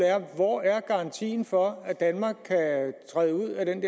er hvor er garantien for at danmark kan træde ud af den